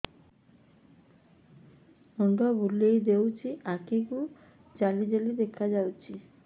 ମୁଣ୍ଡ ବୁଲେଇ ଦେଉଛି ଆଖି କୁ ଜାଲି ଜାଲି ଦେଖା ଯାଉଛି